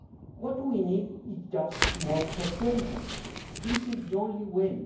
What we need is just more persuasion. This is the only